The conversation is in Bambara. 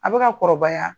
A bɛ ka kɔrɔbaya